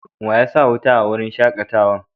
Wa ya sa wuta a wurin shakatawan?